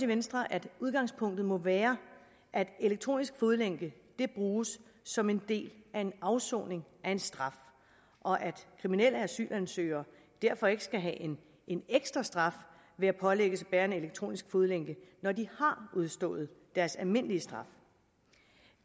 venstre at udgangspunktet må være at elektronisk fodlænke bruges som en del af en afsoning af en straf og at kriminelle asylansøgere derfor ikke skal have en ekstra straf ved at pålægges at bære en elektronisk fodlænke når de har udstået deres almindelige straf